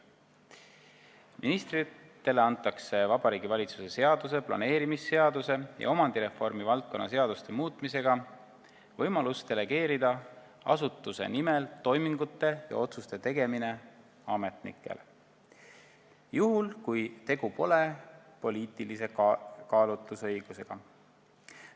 Ministritele antakse Vabariigi Valitsuse seaduse, planeerimisseaduse ja omandireformi valdkonna seaduste muutmisega võimalus delegeerida asutuse nimel toimingute ja otsuste tegemine ametnikele, juhul kui tegu pole poliitilise kaalutlusõigusega.